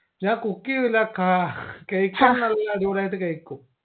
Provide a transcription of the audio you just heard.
ഞാൻ cook ചെയ്യില്ല കാ കഴിക്കാൻ നല്ല അടിപൊളിയായിട്ട് കഴിക്കും